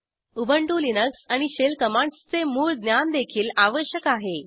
Ubuntu Linux आणि shell commands चे मूळ ज्ञानदेखील आवश्यक आहे